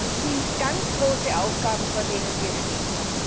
Das sind ganz große Aufgaben, vor denen wir stehen.